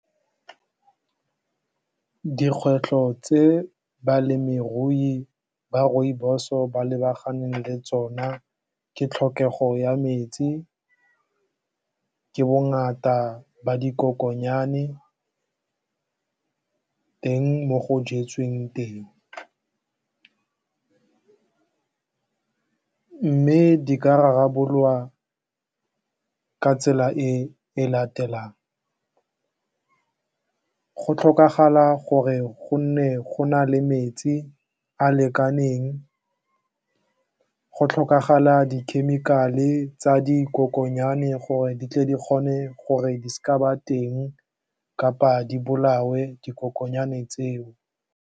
Dikgwetlho tse balemirui ba rooibos-o ba lebaganeng le tsona ke tlhokego ya metsi, ka bongata ba dikokonyane, teng mo go jetsweng teng mme di ka rarabololwa ka tsela e latelang go tlhokagala gore go nne go na le metsi a lekaneng, go tlhokagala dikhemikale e tsa dikokonyane gore di tle di kgone gore di se ka tsa ba teng kapa di bolawe dikokonyane tseo.